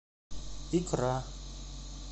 икра